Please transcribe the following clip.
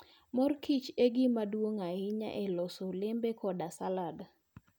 Mor Kiche gima duong' ahinya e loso olembe koda salad.